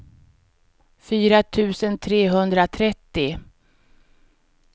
fyra tusen trehundratrettio